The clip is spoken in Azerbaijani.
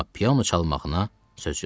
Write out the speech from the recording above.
Amma piano çalmağına söz yoxdur.